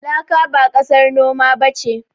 Laka ba ƙasar noma ba ce.